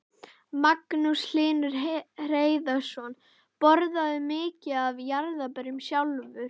Magnús Hlynur Hreiðarsson: Borðarðu mikið af jarðarberjum sjálfur?